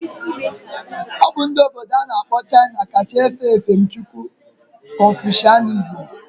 Obu ndi obodo ana akpo China ka cha efe efemchukwu confucianism.